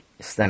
İstəmirəm.